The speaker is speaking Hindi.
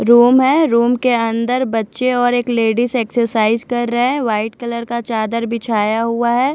रूम है रूम के अन्दर बच्चे और एक लेडीज एक्ससाईस कर रे वाइट कलर का चादर बिछाया हुआ है।